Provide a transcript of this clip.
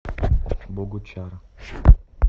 богучар